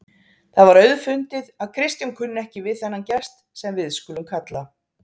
Það var auðfundið að Kristján kunni ekki við þennan gest, sem við skulum kalla